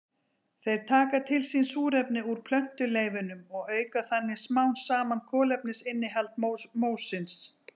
Þeir taka til sín súrefni úr plöntuleifunum og auka þannig smám saman kolefnisinnihald mósins.